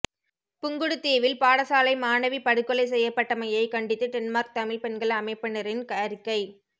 புங்குடுதீவில் பாடசாலை மாணவி படுகொலை செய்யப்பட்டமையை கண்டித்து டென்மார்க் தமிழ் பெண்கள் அமைப்பினரின் அறிக்கை